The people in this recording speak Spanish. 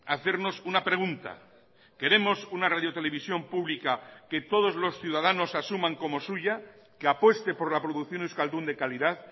hacernos una pregunta queremos una radiotelevisión pública que todos los ciudadanos asuman como suya que apueste por la producción euskaldun de calidad